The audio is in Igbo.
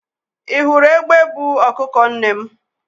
ị hụrụ egbe buu ọkụkọ nne m?